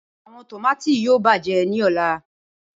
Awọn tomati yoo bajẹ ni ọla.